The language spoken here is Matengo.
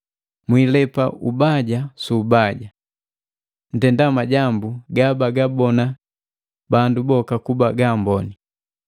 Mwilepa ubaja su ubaja. Ntenda majambu gabagabona bandu boka kuba gaamboni.